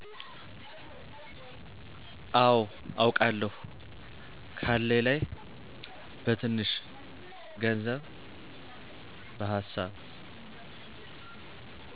አው አውቃለው ካለኝ ላይ በትንሺ ግንዘብ በሀሳብ።